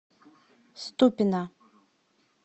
ступино